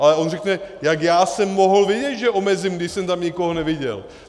Ale on řekne: Jak já jsem mohl vědět, že omezím, když jsem tam nikoho neviděl?